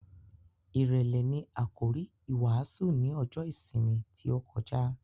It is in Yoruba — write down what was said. Ìrèlè ni àkòrí ìwàásù ní ọjọ́ ìsinmi tí ó kọjá.